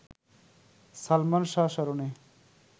সালমান শাহ স্মরণে